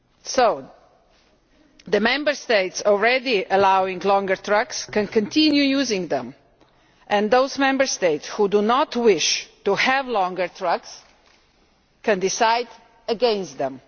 So Member States already allowing longer trucks can continue to use them and those Member States which do not wish to have longer trucks can decide against them.